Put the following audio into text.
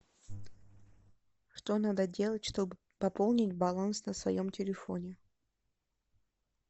что надо делать чтобы пополнить баланс на своем телефоне